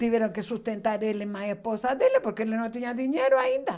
Tiveram que sustentar ele e mais a esposa dele, porque ele não tinha dinheiro ainda.